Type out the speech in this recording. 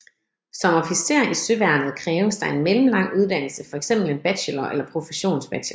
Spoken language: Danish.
Som officer i Søværnet kræves der en mellemlang uddannelse fx en bachelor eller professionsbachelor